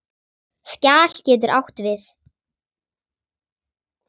Skjal getur átt við